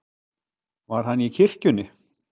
Var hann í kirkjunni?